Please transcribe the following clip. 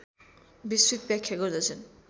विस्तृत व्याख्या गर्दछन्